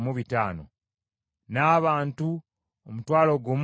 n’abantu omutwalo gumu mu kakaaga (16,000).